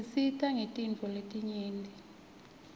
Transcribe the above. tisisita ngetintfo letinyeti